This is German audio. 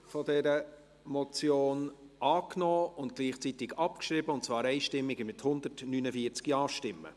Sie haben auch die Ziffer 2 dieser Motion angenommen und gleichzeitig abgeschrieben, und zwar einstimmig mit 149 Ja-Stimmen.